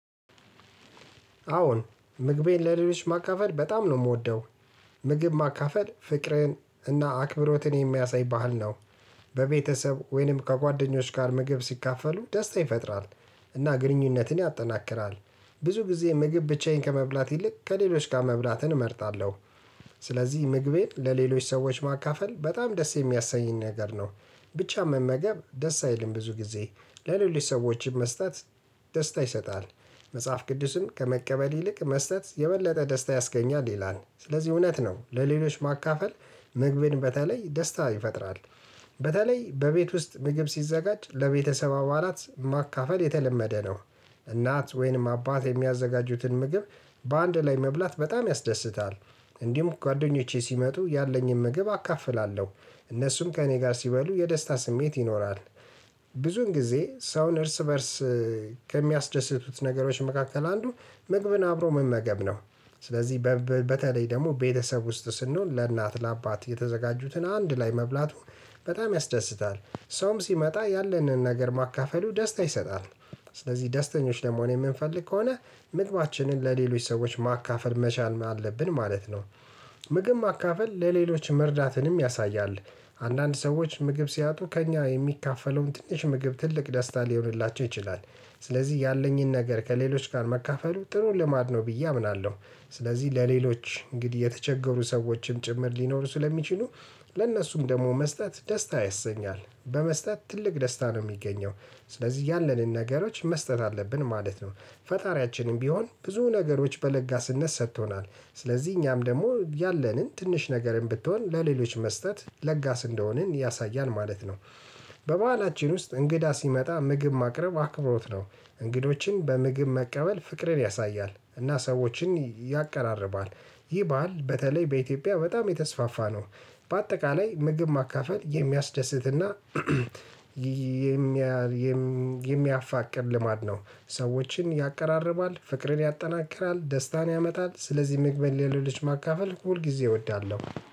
አዎን ምግቤን ለሌሎች ማካፈል በጣም ነው የምወደው ምግብ ማካፈል ፍቅርን እና አክብሮትን የሚያሳይ ባህል ነው። በቤተሰብ ወይንም ከጓደኞች ጋር ምግብ ሲካፈሉ ደስታ ይፈጥራል እና ግንኙነትን ያጠናክራል። ብዙ ጊዜ ምግብ ብቻዬን ከመብላት ይልቅ ከሌሎች ጋር መብላትን እመርጣለሁ። ስለዚህ ምግቤን ለሌሎች ሰዎች ማካፈል በጣም ደስ የሚያሰኝ ነገር ነው። ብቻን መመገብ ደስ አይልም ብዙ ጊዜ ለሌሎች ሰዎችም መስጠት ደስታ ይሰጣል። መጽሐፍ ቅዱስም ከመቀበል ይልቅ መስጠት የበለጠ ደስታ ያስገኛል ይላል ስለዚህ እውነት ነው ለሌሎች ማካፈል ምግብን በተለይ ደስታ ይፈጥራል። በተለይ በቤት ውስጥ ምግብ ሲዘጋጅ ለቤተሰብ አባላት ማካፈል የተለመደ ነው። እናት ወይንም አባት የሚያዘጋጁትን ምግብ በአንድ ላይ መብላት በጣም ያስደስታል። እንዲሁም ጓደኞቼ ሲመጡ ያለኝን ምግብ አካፍላለሁ እነሱም ከእኔ ጋር ሲበሉ የደስታ ስሜት ይኖራል። ብዙን ጊዜ ሰውን እርስ በእርስ ከሚያስደስቱት ነገሮች መካከል አንዱ ምግብን አብሮ መመገብ ነው። ስለዚህ በተለይ ደግሞ ቤተሰብ ውስጥ ስንሆን ለእናት ለአባት የተዘጋጁትን አንድ ላይ መብላቱን በጣም ያስደስታል። ሰውም ሲመጣ ያለንን ነገር ማካፈሉ ደስታ ይሰጣል። ስለዚህ ደስተኞች ለመሆን የምንፈልግ ከሆነ ምግባችንን ለሌሎች ሰዎች ማካፈል መቻል አለብን ማለት ነው። ምግብ ማካፈል ለሌሎች መርዳትንም ያሳያል። አንዳንድ ሰዎች ምግብ ሲያጡ ከእኛ የሚካፈለውን ትንሽ ምግብ ትልቅ ደስታ ሊሆንላቸው ይችላል። ስለዚህ ያለኝን ነገር ከሌሎች ጋር መካፈሉ ጥሩ ልማድ ነው ብዬ አምናለሁ። ስለዚህ ለሌሎች እንግዲህ የተቸገሩ ሰዎችም ጭምር ሊኖሩ ስለሚችሉ። ለእነሱም ደግሞ መስጠት ደስታ ያሰኛል በመስጠት ትልቅ ደስታ ነው የሚገኘው። ስለዚህ ያለንን ነገሮች መስጠት አለብን ማለት ነው። ፈጣሪያችንም ቢሆን ብዙ ነገሮች በለጋስነት ሰጥቶናል። ስለዚህ እኛም ደግሞ ያለንን ትንሽ ነገርም ብትሆን ለሌሎች መስጠት ለጋስ እንደሆንን ያሳያል ማለት ነው። በበህላችን ውስጥ እንግዳ ሲመጣ ምግብ ማቅረብ አክብሮት ነው። እንግዶችን በምግብ መቀበል ፍቅርን ያሳያል እና ሰዎችን ያቀራርባል። ይህ ባህል በተለይ በኢትዮጵያ በጣም የተስፋፋ ነው። በአጠቃላይ ምግብ ማካፈል የሚያስደስትና የሚያፋቅር ልማድ ነው። ሰዎችን ያቀራርባል ፍቅርን ያጠናክራል ደስታን ያመጣል ስለዚህ ምግብን ለሌሎች ማካፈል ሁል ጊዜ እወዳለሁ።